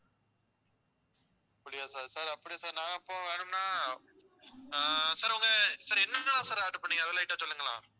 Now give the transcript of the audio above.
அப்படியா sir sir அப்படி நான் இப்போம் வேணும்னா ஆஹ் உங்க sir sir என்னென்னலாம் order பண்ணீங்க அதுல light அ சொல்லுங்களே